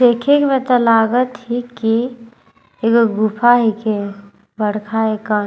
देखेक में तो लागत हे कि एगो गुफा हिके बड़खा एकन --